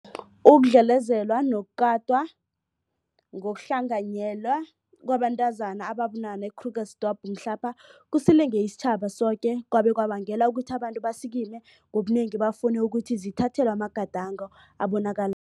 Ukudlelezelwa nokukatwa ngokuhlanganyelwa kwabantazana ababunane e-Krugersdorp mhlapha kusilinge isitjhaba soke kwabe kwabangela ukuthi abantu basikime ngobunengi bafune ukuthi zithathelwe amagadango abonakal